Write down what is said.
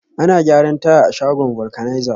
Ana gyaran taya a shagon vulcanizer